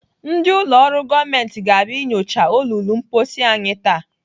Ndị ụlọ ọrụ gọọmenti ga-abịa inyochaa olulu mposi anyị taa.